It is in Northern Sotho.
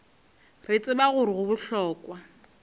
re tseba gore go bohlokwa